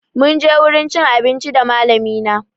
Munje wurin cin abinci da malami na